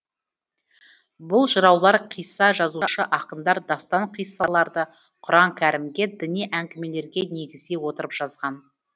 бұл жыраулар қисса жазушы ақындар дастан қиссаларды құран кәрімге діни әңгімелерге негіздей отырып жазған